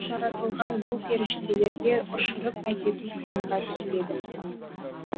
жаратылған бұл періштелерге ұшұрып әкету қиынға түспеді